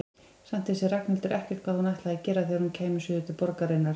Samt vissi Ragnhildur ekkert hvað hún ætlaði að gera þegar hún kæmi suður til borgarinnar.